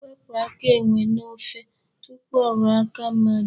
Wepụ aka enwe n'ofe tupu ọ ghọọ aka mmadụ.